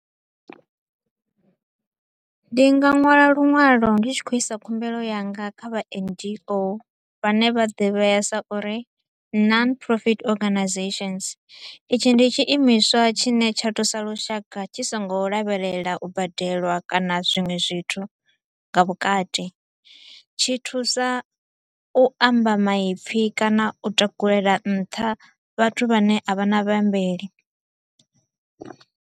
Ndi nga nwala luṅwalo ndi tshi kho u isa khumbelo yanga kha vha N_G_O, vha ne vha ḓivhea sa uri Non-Profit Organisations. Itshi ndi tshi imiswa tshine tsha thusa lushaka tshi so ngo lavhelela u badelwa kana zwiṅwe zwithu nga vhukati, tshi thusa u amba maipfi kana u takulela nṱha vhathu vhane a vha na vhaambeli.